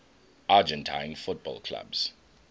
argentine football clubs